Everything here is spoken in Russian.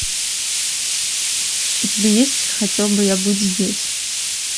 у тебя есть хотел бы я быть здесь